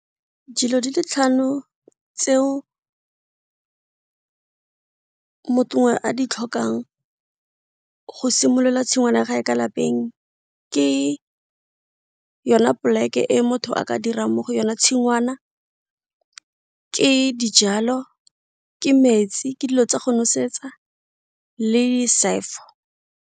Dilo di le tlhano tseo a di tlhokang go simolola tshingwana ka lapeng, ke yona plek e motho a ka dirang mo go yona tshingwana, ke dijalo, ke metsi, ke dilo tsa go nosetsa le .